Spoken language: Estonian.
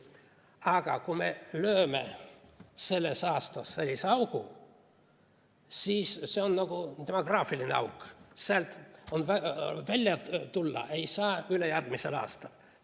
Aga kui me lööme sellesse aastasse sellise augu, siis see on nagu demograafiline auk, sealt ei saa välja tulla ülejärgmisel aastal.